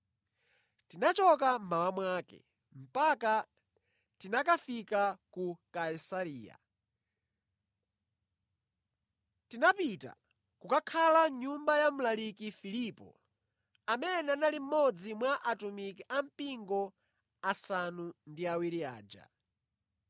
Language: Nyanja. Tinachoka mmawa mwake, mpaka tinakafika ku Kaisareya. Tinapita kukakhala mʼnyumba ya mlaliki Filipo, amene anali mmodzi mwa atumiki a mpingo asanu ndi awiri aja.